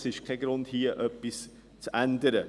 Das ist kein Grund, hier etwas zu ändern.